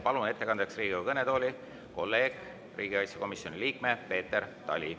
Palun ettekandjaks Riigikogu kõnetooli kolleegi, riigikaitsekomisjoni liikme Peeter Tali.